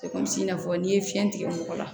i n'a fɔ n'i ye fiɲɛ tigɛ mɔgɔ la